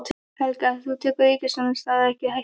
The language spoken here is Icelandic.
Helga: En þú tekur ríkisstjórnarsamstarfið ekki í hættu?